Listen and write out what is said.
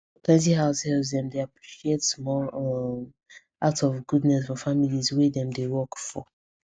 plenty househelps dem dey appreciate small um acts of goodness from the families wey dem dey work for